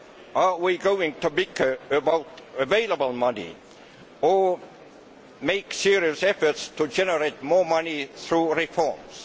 Are we going to bicker about available money or make serious efforts to generate more money through reforms?